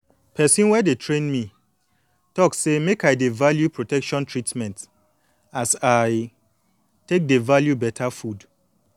person wey dey train me talk say make i dey value protection treatment as i take dey value beta food